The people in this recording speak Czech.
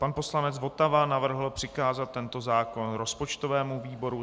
Pan poslanec Votava navrhl přikázat tento zákon rozpočtovému výboru.